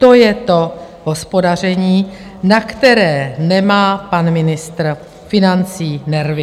To je to hospodaření, na které nemá pan ministr financí nervy.